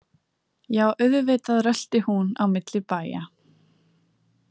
Já, auðvitað rölti hún á milli bæja.